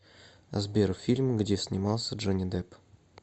сбер фильм где снимался джони депп